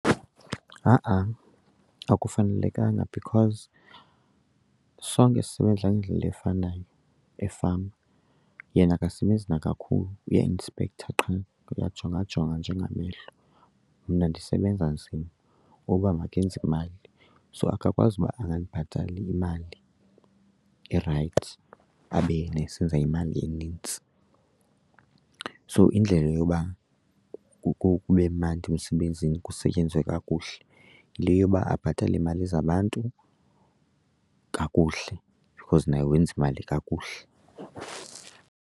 Ha-a, akufanelekanga because sonke sisebenza ngendlela efanayo efama. Yena akasebenzi nakakhulu uyainspektha qha, uyajongajonga nje ngamehlo, mna ndisebenza nzima uba mandenze imali. So akakwazi ukuba angandibhatali imali erayithi abe yena esenza imali enintsi. So indlela yoba kube mandi emsebenzini kusetyenzwe kakuhle yile yoba abhatale iimali zabantu kakuhle because naye wenza imali kakuhle.